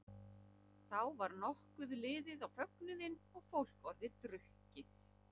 Þá var nokkuð liðið á fögnuðinn og fólk orðið drukkið.